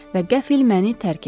Və qəfl məni tərk etdi.